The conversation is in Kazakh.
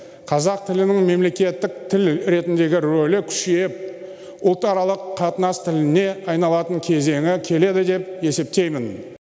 қазақ тілінің мемлекеттік тіл ретіндегі рөлі күшейіп ұлтаралық қатынас тіліне айналатын кезеңі келеді деп есептеймін